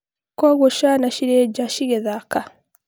kwogũo ciana ciri ja cigĩthaka?